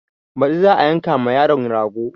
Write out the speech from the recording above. Baɗi za a yanka ma yaron rago